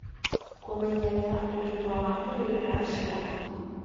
Kũmenyerera ũgima wa mwĩrĩ wa ciana